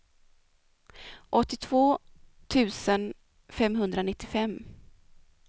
åttiotvå tusen femhundranittiofem